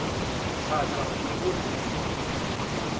thaka o be o reng